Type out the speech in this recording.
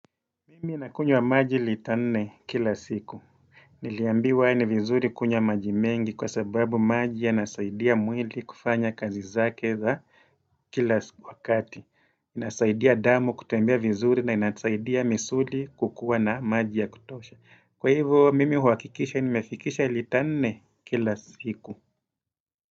Mimi ninakunywa maji lita nne kila siku. Niliambiwa ni vizuri kunywa maji mengi kwa sababu maji yanasaidia mwili kufanya kazi zake za kila wakati. Inasaidia damu kutembea vizuri na inasaidia misuli kukua na maji ya kutosha. Kwa hivyo, mimi huakikisha nimefikisha lita nne kila siku.